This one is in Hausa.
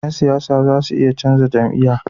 Yan siyasa zasu iya canza jam'iya